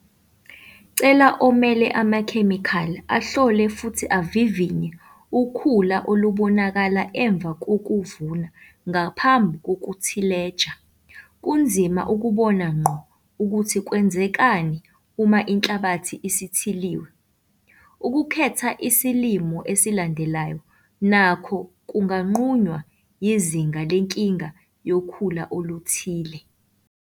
Cela omele amakhemikhali ahlole futhi avivinye ukhula olubonakala emva kokuvuna ngaphambi kwekuthileja - kunzima ukubona ngqo ukuthi kwenzekani uma inhlabathi isithiliwe. Ukukhetha isilimo esilandelayo nakho kunganqunywa yizinga lenkinga yokhula oluthile.